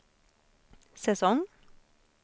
säsong